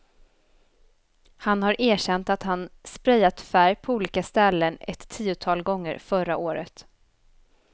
Han har erkänt att han sprayat färg på olika ställen ett tiotal gånger förra året.